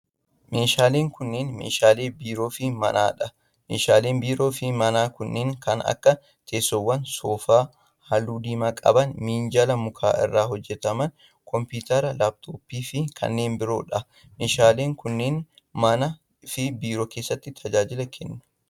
Meeshaaleen kunneen meeshaalee biiroo fi manaa dha. Meeshaaleen biiroo fi manaa kunneen kan aaka:teessoowwan soofaa haalluu diimaa qaban, minjaala muka irraa hojjatame, kompiitara laaptooppii fi kanneen biroo dha. Meeshaaleen kunneen manaa fi biiroo keessatti tajaajila kennu.